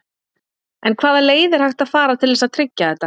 En hvaða leið er hægt að fara til þess að tryggja þetta?